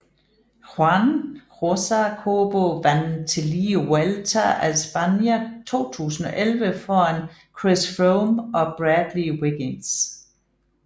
Juan Josa Cobo vandt tillige Vuelta a España 2011 foran Chris Froome og Bradley Wiggins